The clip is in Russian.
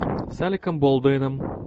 с алеком болдуином